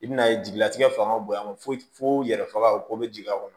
I bɛna ye jigilatigɛ fanga bonyana fo fo yɛrɛ faga o ko bɛ jigin a kɔnɔ